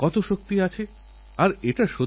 এক কঠিন সাধনার পরখেলোয়োড় হয়ে ওঠেন